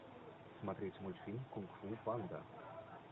смотреть мультфильм кунг фу панда